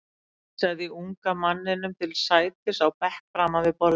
Hann vísaði unga manninum til sætis á bekk framan við borðið.